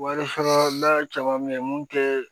Wari sɔrɔla caman bɛ yen mun tɛ